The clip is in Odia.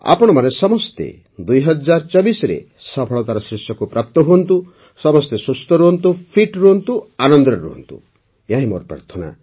ଆପଣମାନେ ସମସ୍ତେ ୨୦୨୪ରେ ସଫଳତାର ଶୀର୍ଷକୁ ପ୍ରାପ୍ତ ହୁଅନ୍ତୁ ସମସ୍ତେ ସୁସ୍ଥ ରୁହନ୍ତୁ ଲସଗ୍ଧ ରୁହନ୍ତୁ ଖୁବ୍ ଆନନ୍ଦରେ ରୁହନ୍ତୁ ଏହାହିଁ ମୋର ପ୍ରାର୍ଥନା